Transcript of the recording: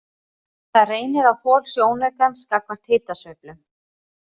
Það reynir á þol sjónaukans gagnvart hitasveiflum.